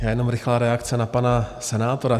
Já jenom rychlá reakce na pana senátora.